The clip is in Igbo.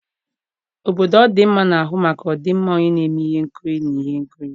obodo ọdịmma na-ahụ maka ọdịmma onye na-eme ihe nkiri na ihe nkiri.